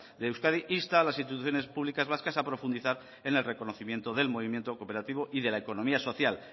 de euskadi insta a las instituciones públicas vascas a profundizar en el reconocimiento del movimiento cooperativo y de la economía social